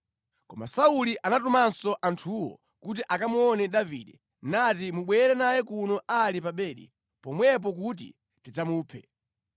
Koma Sauli anatumanso anthuwo kuti akamuone Davide, nati, “Mubwere naye kuno ali pa bedi pomwepo kuti ndidzamuphe.”